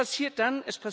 Was passiert dann?